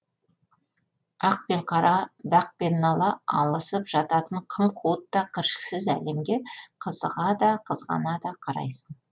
ақ пен қара дақ пен нала алысып жататын қым қуыт та кіршіксіз әлемге қызыға да қызғана да қарайсың